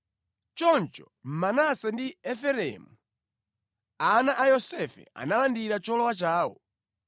Choncho Manase ndi Efereimu, ana a Yosefe analandira cholowa chawo.